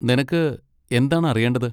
നിനക്ക് എന്താണ് അറിയേണ്ടത്?